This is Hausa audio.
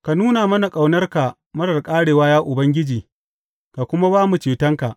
Ka nuna mana ƙaunarka marar ƙarewa, ya Ubangiji, ka kuma ba mu cetonka.